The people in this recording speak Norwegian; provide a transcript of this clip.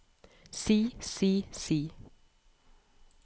si si si